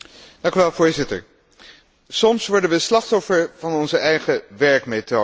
Voorzitter, soms worden we slachtoffer van onze eigen werkmethode.